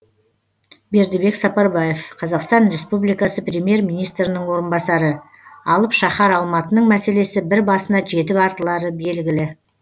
бердібек сапарбаев қазақстан республикасы премьер министрінің орынбасары алып шаһар алматының мәселесі бір басына жетіп артылары белгілі